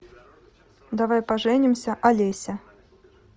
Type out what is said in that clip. давай поженимся олеся